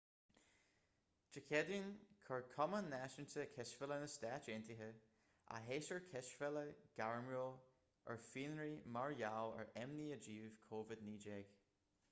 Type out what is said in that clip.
dé céadaoin chuir cumann náisiúnta cispheile na stát aontaithe a shéasúr cispheile gairmiúil ar fionraí mar gheall ar imní i dtaobh covid-19